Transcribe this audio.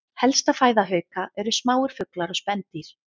Helsta fæða hauka eru smáir fuglar og spendýr.